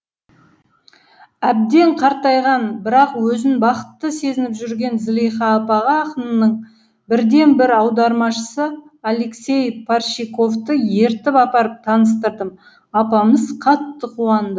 әбден қартайған бірақ өзін бақытты сезініп жүрген зылиха апаға ақынның бірден бір аудармашысы алексей парщиковты ертіп апарып таныстырдым апамыз қатты қуанды